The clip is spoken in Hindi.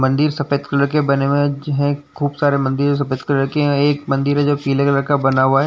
मन्दिर सफेद कलर के बने हुए ज हैं खूब सारे मन्दिर सफ़ेद कलर के हैं। एक मंदिर है जो पीले कलर का बना हुआ है।